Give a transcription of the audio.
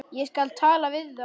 Ég skal tala við þá.